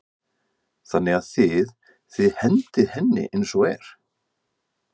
Þannig að þið, þið hendið henni eins og er?